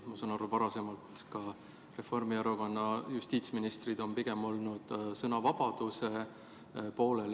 Ma saan aru, et varasemalt on Reformierakonna justiitsministrid olnud pigem sõnavabaduse poolel.